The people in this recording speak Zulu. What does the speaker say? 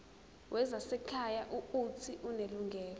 wezasekhaya uuthi unelungelo